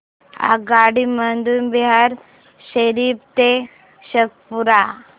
आगगाडी मधून बिहार शरीफ ते शेखपुरा